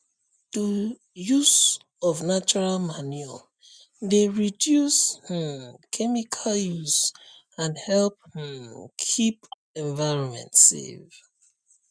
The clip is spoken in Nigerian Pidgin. to use of natural manure dey reduce um chemical use and help um keep environment safe